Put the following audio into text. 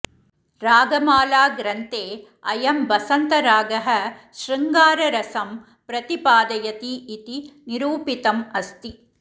रागमालाग्रन्थे अयं बसन्तरागः शृङ्गाररसं प्रतिपादयति इति निरूपितम् अस्ति